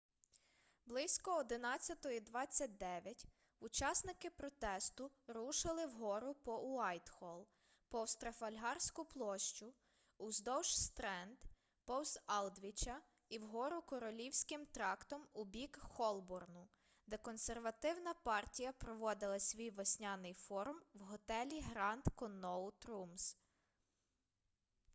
близько 11:29 учасники протесту рушили вгору по уайтхолл повз трафальгарську площу уздовж стренд повз алдвіча і вгору королівським трактом у бік холборну де консервативна партія проводила свій весняний форум в готелі гранд конноут румз